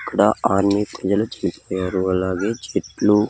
ఇక్కడ అలాగే చెట్లు.